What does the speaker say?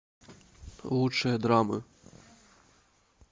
лучшие драмы